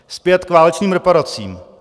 Zpět k válečným reparacím.